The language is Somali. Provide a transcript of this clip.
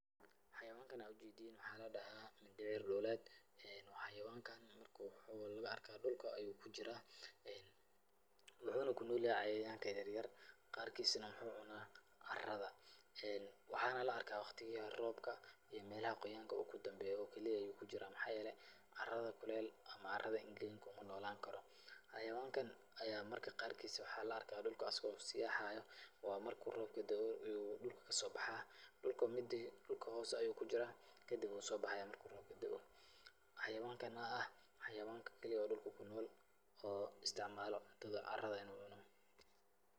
Xayawankan aad u jeediin waxaa ladahaa dhibeer dhuuleed. Waa xayawanka, waxuu lugu arkaa dhulka ayuu kujiraa. Wuxuuna ku noolyahay cayayaanka yeryer qaarkiisna muxuu cunaa carada. Waxaana la'arkaa wakhtiyada roobka iyo meelaha quuyanka uu ku dhambeeyo keli ah ayuu ku jiraa. Maxaa yeelay, carada kuleel ama carada engegin kuma noolaan karo. Xayawaankan ayaa marka qaarkiis waxaa la'arkaa dhulka asigoo sii haayo, waa marka robka da'o uu dulka ka soo bahaa. Dulka hoos ayuu kujiraa kadib wuu soo bahayaa marku roobka da'o. Xayawaanka oo ah xayawaanka keli oo dhulka ku nool oo istacmaalo cuntada carada in uu cuno.